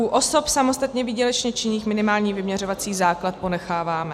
U osob samostatně výdělečně činných minimální vyměřovací základ ponecháváme.